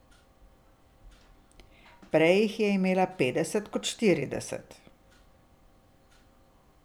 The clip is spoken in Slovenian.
Prej jih je imela petdeset kot štirideset.